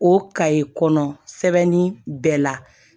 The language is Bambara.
O kayi kɔnɔ sɛbɛnni bɛɛ la